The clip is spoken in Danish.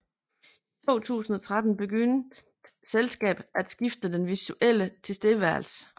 I 2013 begyndte selskabet at skifte den visuelle tilstedeværelse